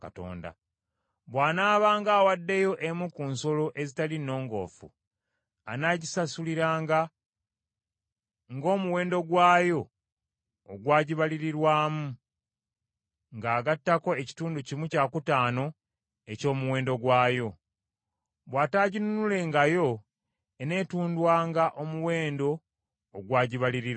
Bw’anaabanga awaddeyo emu ku nsolo ezitali nnongoofu, anagisasuliranga omuwendo gwayo ogwagibalirirwamu, ng’agattako ekitundu kimu kyakutaano eky’omuwendo gwayo. Bw’ataaginunulengayo eneetundwanga omuwendo ogwagibalirirwamu.